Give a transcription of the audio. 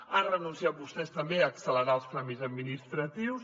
han renunciat vostès també a accelerar els tràmits administratius